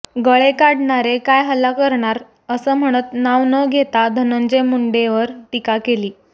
गळे काढणारे काय हल्ला करणार असं म्हणत नाव न घेता धनंजय मुंडेंवर टीका केली